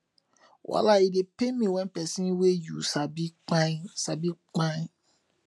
wallai e dey pain wen pesin wey yu sabi kpai sabi kpai